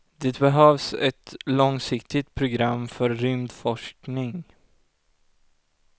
Det behövs ett långsiktigt program för rymdforskning.